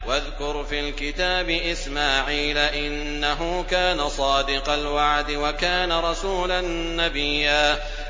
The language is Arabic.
وَاذْكُرْ فِي الْكِتَابِ إِسْمَاعِيلَ ۚ إِنَّهُ كَانَ صَادِقَ الْوَعْدِ وَكَانَ رَسُولًا نَّبِيًّا